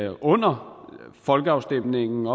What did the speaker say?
under folkeafstemningen